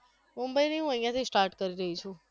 મુંબઈ નહિ હું અહિયાથી start કરી રહી છું